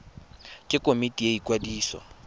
ke komiti ya ikwadiso ya